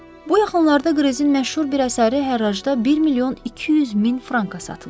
Bu yaxınlarda Qrezin məşhur bir əsəri hərracda 1 milyon 200 min franka satılıb.